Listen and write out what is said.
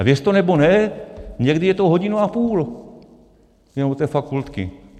A věřte nebo ne, někdy je to hodinu a půl jenom do té fakultky.